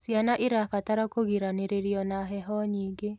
Ciana irabatara kugiraniririo na heho nyingĩ